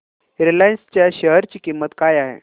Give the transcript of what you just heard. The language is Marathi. रिलायन्स च्या शेअर ची किंमत काय आहे